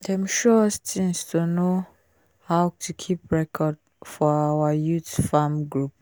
dem show us tings to know to know how to keep record for our youth farm group